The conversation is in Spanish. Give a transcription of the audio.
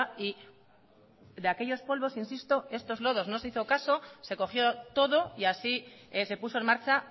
y de aquellos polvos insisto estos lodos no se hizo caso se cogió todo y así se puso en marcha